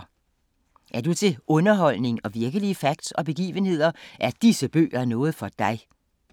Er du til underholdning og virkelige facts og begivenheder er disse bøger noget for dig!